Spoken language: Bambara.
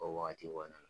O wagati kɔnɔna na